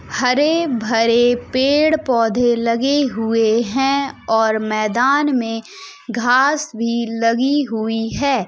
हरे-भरे पेड़ पौधे लगे हुए हैं और मैदान में घास भी लगी हुई है।